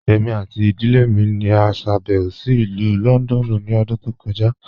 Ẹ̀mi àti ìdílẹ̀ mi ni à ṣàbẹ̀wò sí Ilù Lọ́ndọ̀nù ni ọ̀dún tó kọja.